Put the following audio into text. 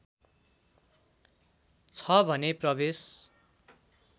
छ भने प्रवेश